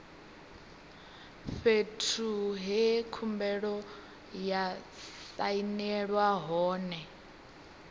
fhethu he khumbelo ya sainelwa hone